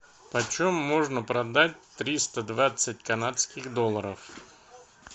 почем можно продать триста двадцать канадских долларов